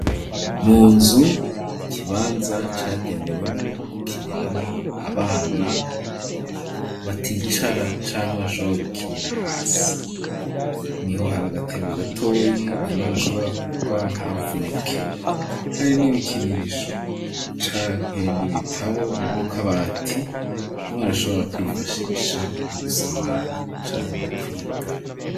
Munzu ikibanza cagenewemwo gukiniramwo abana baticara canke bashobora gukinira hasi niho hari agatebe gatoyi umwana ashobora kurwa ntavunike hari n'ibikinisho canke n'ibitabo mu kabati umwana ashobora kwifashisha mu gusamara canke mu kwiga.